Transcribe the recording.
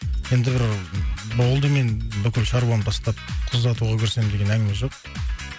енді бір болды мен бүкіл шаруамды тастап қыз ұзатуға көшсем деген әңгіме жоқ